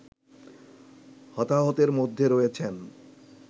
হতাহতের মধ্যে রয়েছেন